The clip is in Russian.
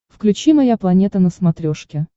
включи моя планета на смотрешке